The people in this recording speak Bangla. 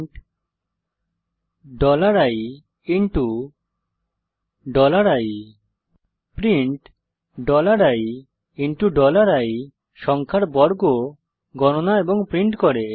প্রিন্ট ii প্রিন্ট ii সংখ্যার বর্গ গনণা এবং প্রিন্ট করে